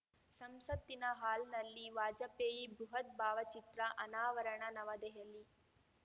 ಸಂಸತ್ತಿನ ಹಾಲ್‌ನಲ್ಲಿ ವಾಜಪೇಯಿ ಬೃಹತ್‌ ಭಾವಚಿತ್ರ ಅನಾವರಣ ನವದೆಹಲಿ